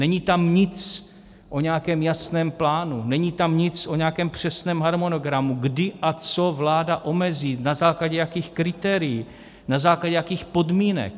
Není tam nic o nějakém jasném plánu, není tam nic o nějakém přesném harmonogramu, kdy a co vláda omezí, na základě jakých kritérií, na základě jakých podmínek.